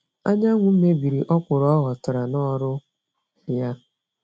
Anyanwụ mebiri ọkwụrụ ọghọtara n'ọrụ ya